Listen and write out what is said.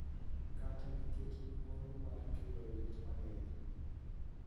Kata nikech luoro mar kelo lit mang�eny